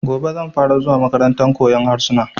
Gobe zan fara zuwa makarantar koyan harsuna